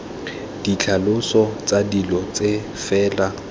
ditlhaloso tsa dilo tse fela